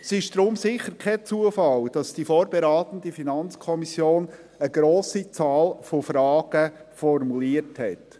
Es ist deshalb sicher kein Zufall, dass die vorberatende FiKo eine grosse Anzahl an Fragen formuliert hat.